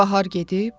Bahar gedib,